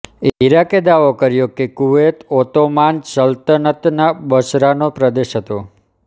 ઈરાકે દાવો કર્યો કે કુવૈત ઓત્તોમાન સલ્તનતના બસરાનો પ્રદેશ હતો